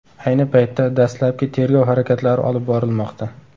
Ayni paytda dastlabki tergov harakatlari olib borilmoqda.